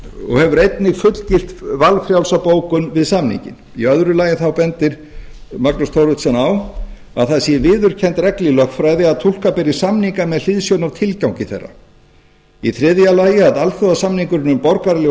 og hefir einnig fullgilt valfrjálsa bókun við samninginn í öðru lagi bendir magnús thoroddsen á að það sé viðurkennd regla í lögfræði að túlka beri samninga með hliðsjón af tilgangi þeirra í þriðja lagi að alþjóðasamningurinn um borgaraleg og